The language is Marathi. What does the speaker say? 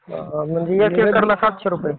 म्हणजे एक एकराला सातशे रुपये.